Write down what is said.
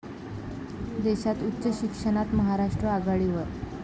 देशात उच्च शिक्षणात महाराष्ट्र आघाडीवर